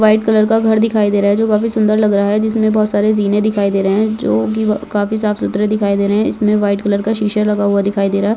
White colour घर दिखाई दे रहा है जो काफी सुंदर लग रहा है जिसमे बहुत सारी जीने दिखाई दे रहे है जोकी काफी साफ सुथरे दिखाई दे रहे है इसमे व्हाइट कलर के शीशा लगा हुआ दिखाई दे रहा है।